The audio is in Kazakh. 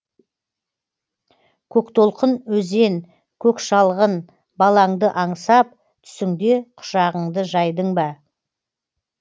көктолқын өзен көк шалғын балаңды аңсап түсіңде құшағыңды жайдың ба